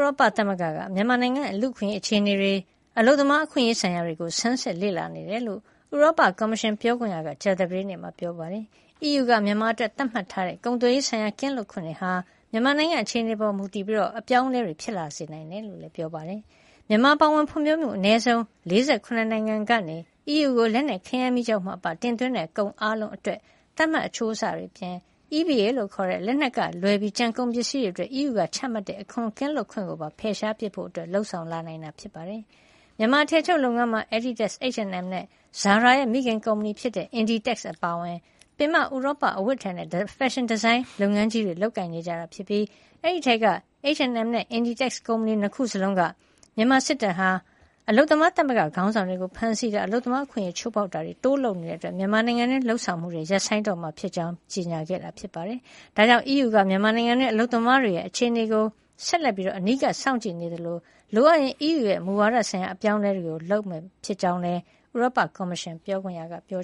ရောပသမဂ္ဂက မြန်မာနိုင်ငံက လူ့အခွင့်ရေးအခြေနေတွေ၊ အလုပ်သမားအခွင့်ရေးဆိုင်ရာတွေကို ဆန်းစစ်လေ့လာနေတယ်လို့ ဥရောပကော်မရှင် ပြောခွင့်ရက ကြာသပတေးနေ့မှာ ပြောပါတယ်။ အီးယူက မြန်မာအတွက် သတ်မှတ် ထားတဲ့ ကုန်သွယ်ရေးဆိုင်ရာကင်းလွတ်ခွင့်တွေဟာ မြန်မာနိုင်ငံရဲ့ အခြေအနေပေါ်မူတည်ပြီး အပြောင်းအလဲတွေ ဖြစ်လာစေနိုင်တယ်လို့လည်း ပြောပါတယ်။ မြန်မာအပါအဝင် ဖွံ့ဖြိုးမှုအနည်းဆုံး ၄၇ နိုင်ငံကနေ အီးယူကို လက်နက်၊ ခဲယမ်းမီးကျောက်မှအပ တင်သွင်းတဲ့ကုန်အားလုံးအတွက် သတ်မှတ်အချိုးအဆတွေအပြင် EBA လို့ခေါ်တဲ့ လက်နက်ကလွဲပြီး ကျန်ကုန်ပစ္စည်းတွေအတွက် အီးယူကချမှတ်ထားတဲ့ အခွန်ကင်းလွတ်ခွင့်ကိုပါဖယ်ရှားပစ်ဖို့ လုပ်ဆောင်လာနိုင်တာပါ။ မြန်မာအထည်ချုပ်လုပ်ငန်းမှာ Adidas ၊ H&M နဲ့ Zara ရဲ့ မိခင်ကုမ္ပဏီ Inditex အပါအဝင် ပင်မ ဥရောပအဝတ်အထည်နဲ့ ဖက်ရှင်ဒီဇိုင်းလုပ်ငန်းကြီးတွေ လုပ်ကိုင်နေကြပြီး ဒီအထဲက H&M နဲ့ Inditex ကုမ္ပဏီ ၂ ခုစလုံးက မြန်မာစစ်တပ်ဟာ အလုပ်သမားသမဂ္ဂခေါင်းဆောင်တွေကို ဖမ်းဆီးတာ၊ အလုပ်သမားအခွင့်အရေးချိုးဖေါက်တာတွေ တိုးလုပ်လာနေတာကြောင့် မြန်မာနိုင်ငံတွင်းက လုပ်ငန်းတွေ ရပ်ဆိုင်းတော့မှာဖြစ်ကြောင်း ပြောကြားခဲ့တာဖြစ်ပါတယ်။ ဒါကြောင့် အီးယူက မြန်မာနိုင်ငံတွင်း အလုပ်သမားတွေရဲ့အခြေအနေကို ဆက်လက်ပြီး အနီးကပ်စောင့်ကြည့်နေသလို လိုအပ်ရင် အီးယူရဲ့ မူဝါဒဆိုင်ရာ အပြောင်းလဲတွေ လုပ်မှာ ဖြစ်ကြောင်းလည်း ဥရောပကော်မရှင် ပြောခွင့်ရက ပြော